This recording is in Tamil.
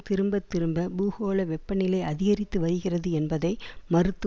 திரும்பத்திரும்ப பூகோள வெப்பநிலை அதிகரித்து வருகிறது என்பதை மறுத்து